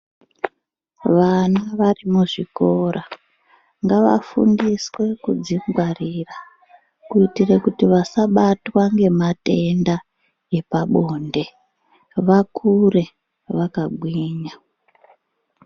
Vana vari muzvikora, ngavafungiswe kudzingwarira, kuitira kuti vasabatwa ngematenda epabonde, vakure vakagwinya.